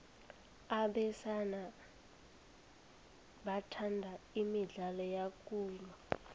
abesana bathanda imidlalo yokulwa